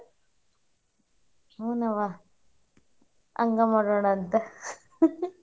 ಹುನವಾ ಹಂಗ ಮಾಡೋಣಂತ .